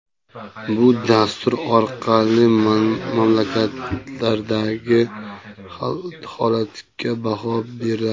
Bu dastur orqali mamlakatlardagi holatga baho beriladi.